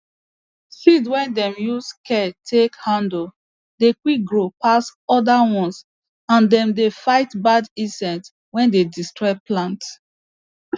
seed wey dem use care take handle dey quick grow pass other ones and dem dey fight bad insect wey dey destroy plant